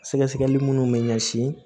Sɛgɛsɛgɛli minnu bɛ ɲɛsin